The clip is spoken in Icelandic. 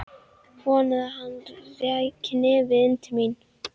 Vonaði að hann ræki nefið inn til mín.